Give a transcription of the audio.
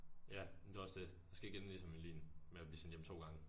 Ja men det også det. Jeg skal ikke ende ligesom Melin med at blive sendt hjem 2 gange